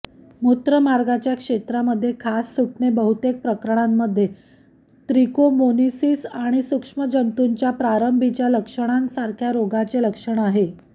मूत्रमार्गच्या क्षेत्रामध्ये खाज सुटणे बहुतेक प्रकरणांमध्ये त्रिकोमोनीसिस आणि सूक्ष्म जंतूच्या प्रारंभीच्या लक्षणांसारख्या रोगाचे लक्षण असते